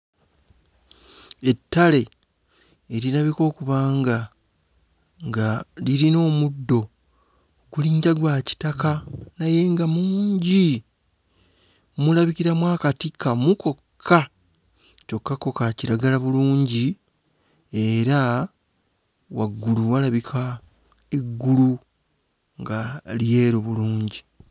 Ettale erirabika okuba nga nga lirina omuddo gulinga gwa kitaka naye nga mungi, mulabikiramu akati kamu kokka kyokka ko kakiragala bulungi era waggulu walabika eggulu nga lyeru bulungi.